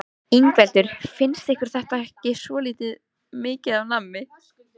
Ingveldur: Finnst ykkur þetta ekki svolítið mikið af nammi?